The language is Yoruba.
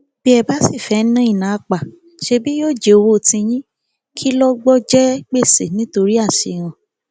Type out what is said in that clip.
bí ẹ bá sì fẹẹ ná ìná àpà ṣebí yóò jẹ owó tiyín kí lọgbọ jẹ gbèsè nítorí àṣehàn